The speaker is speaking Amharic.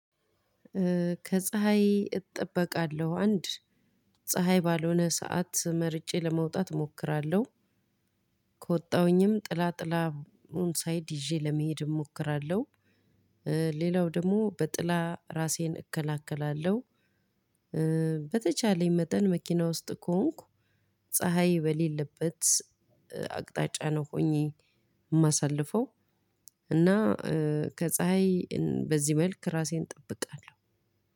ከፀሀይ እጠበቃለሁ አንድ ፀሀይ ባልሆነ ሰዓት መርጬ ለመውጣት እሞክራለሁ ከወጣሁኝም ጥላ ጥላ ሳይድ ይዤ ለመሄድ እሞክራለሁ። ሌላው ደግሞ በጥላ ራሴን እከላከላለሁ። በተቻለኝ መጠን መኪና ውስጥ ከሆንኩ ፀሀይ በሌለበት አቅጣጫ ነው ሆኜ የማሳልፈው። እና ከፀሀይ በዚህ መልኩ ራሴን እጠብቃለሁ